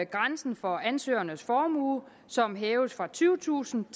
grænsen for ansøgernes formue som hæves fra tyvetusind